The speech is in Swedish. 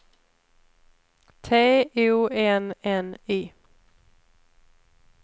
T O N N Y